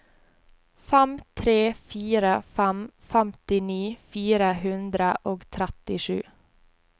fem tre fire fem femtini fire hundre og trettisju